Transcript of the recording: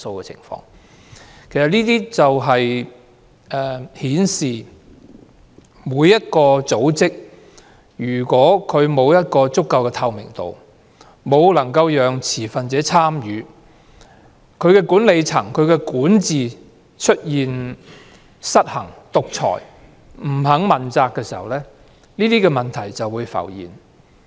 這正正顯示，如果相關組織沒有足夠的透明度或沒有讓持份者參與，當管理層或管治出現失衡、獨裁或不肯問責的情況，問題便會浮現。